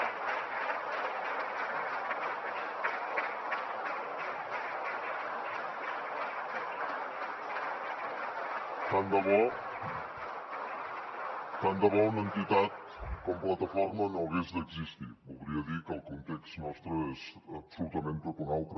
tant de bo una entitat com plataforma no hagués d’existir voldria dir que el context nostre és absolutament tot un altre